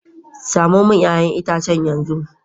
Samo min 'ya'yan itacen yanzu